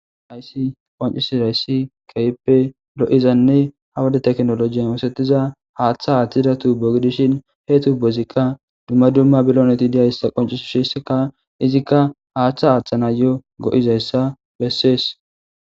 aysi qancisi rayssi keyppe lo7izanne hawada teknoloji oosetiza haaththa haaththidatu bogidishin hee tu bozikka dumma dumma biloneti diyayssa qoncisu sheseka izikka haaththa haaththana yo go7izayssa bessees